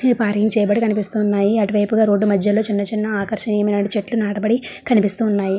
Park చెయబడి కనిపిస్తూ ఉన్నాయి. అటువైపుగా రోడ్డు కు మధ్యలోనే ఆకర్షణ ఏమైనా చెట్లు నాటబడి కనిపిస్తూ ఉన్నాయి.